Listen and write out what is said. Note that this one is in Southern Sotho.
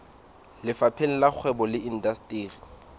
lefapheng la kgwebo le indasteri